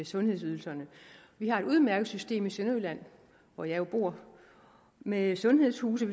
sundhedsydelserne vi har et udmærket system i sønderjylland hvor jeg jo bor med sundhedshuse